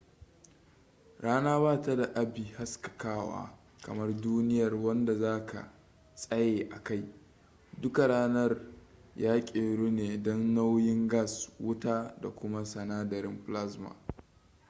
rana ba ta da abi haskakawa kamar duniyar wanda za ka tsaye a kai duka ranar ya keru ne dan nauyin gas wuta da kuma sinadarin plasma